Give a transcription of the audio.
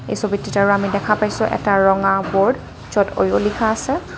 এই ছবিটোতে আমি দেখা পাইছোঁ এটা ৰঙা বৰ্ড য'ত ওয়ো লিখা আছে।